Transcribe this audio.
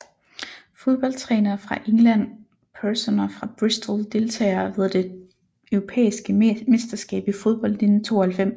Fodboldtrænere fra England Personer fra Bristol Deltagere ved det europæiske mesterskab i fodbold 1992